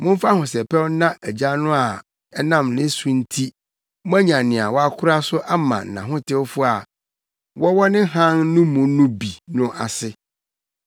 Momfa ahosɛpɛw nna Agya no a ɛnam ne so nti moanya nea wakora so ama nʼahotewfo a wɔwɔ ne hann no mu no bi no ase.